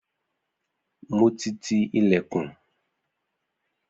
Mo ti ti ìlẹ̀kùn.